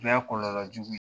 O fɛnɛ ye kɔlɔlɔ jugu ye